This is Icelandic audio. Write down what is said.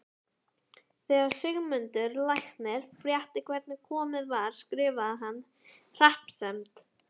Þegar Sigmundur læknir frétti hvernig komið var skrifaði hann hreppsnefnd